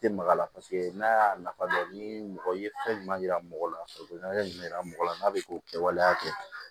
Tɛ maga la paseke n'a y'a nafa dɔn ni mɔgɔ ye fɛn ɲuman yira mɔgɔ la farikolo ɲɛna mɔgɔ la n'a bɛ k'o kɛ waleya kɛ